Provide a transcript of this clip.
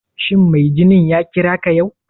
Shin mai ginin ya kira ka yau?